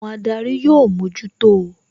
Àwọn adarí ó mójútó o